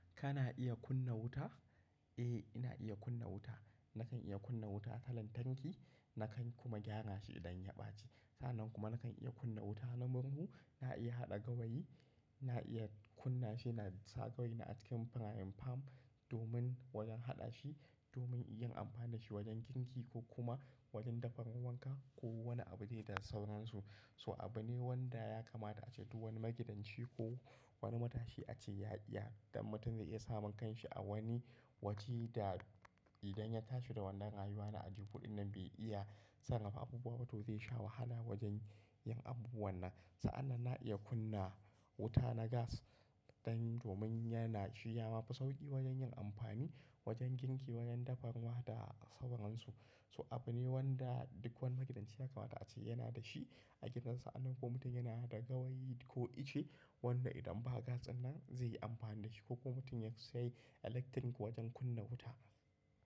Kana iya kunna wuta? Eh, ina iya kunna wuta. Nakan iya kunna wuta ta lantarki, nakan kuma gyara shi idan ya ɓaci. Sa'nan kuma nakan iya kunna wuta na murhu. Na iya haɗa gawayi, na iya kunna shi na sa gawayi na a cikin frying pan domin wajen haɗa shi, domin yin amfani da shi wajen girki ko kuma wajen dafa mawanka ko wani abu zai da sauran su. So abu ne wanda ya kamata ace duk wani magidanci ko wani matashi a ce ya iya. Don mutum zai iya samun kanshi a wani waje da idan ya tashi da wannan rayuwa na ajebo din nan bai iya, sarrafa abubuwa ba to zai sha wahala wajen yin abubuwan nan. Sa'an nan na iya kunna wuta na gas dan domin yana shiya mafi sauƙi wajen yin amfani, wajen girki, wajen dafa ruwa da sauran su. So abu ne wanda duk wani magidanci ya kamata a ce yana da shi a gidan sa'an nan ko mutum yana da gawayi ko ice wannan idan ba gas ɗinnan zai yi amfani da shi ko kuma mutum ya sayi electric wajen kunna wuta.